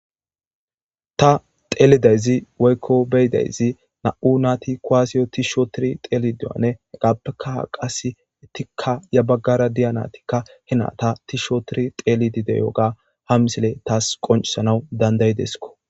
Ta xeelidayzi woykko beydayzi na'u naati koaasiyo tisho tiri xeeli diyane hegappekaha qas etikka ya baggara diya natikka hina ta tiihsho tiri xeelidide yooga ha misile taas qoncisanaw dandaydeskko.